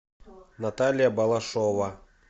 наталья балашова